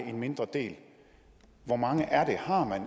en mindre del hvor mange er det har man